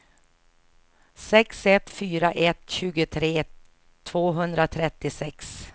sex ett fyra ett tjugotre tvåhundratrettiosex